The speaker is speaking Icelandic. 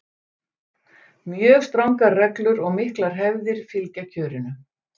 Mjög strangar reglur og miklar hefðir fylgja kjörinu.